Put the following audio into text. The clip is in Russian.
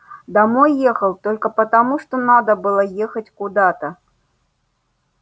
домой ехал только потому что надо было ехать куда-то